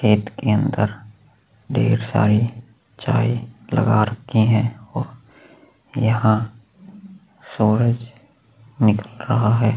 खेत के अन्दर ढेर सारे चाय लगा रखी है और यहाँ सूरज निकल रहा है।